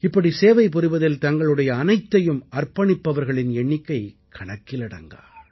இப்படி சேவைபுரிவதில் தங்களுடைய அனைத்தையும் அர்ப்பணிப்பவர்களின் எண்ணிக்கை கணக்கிலடங்கா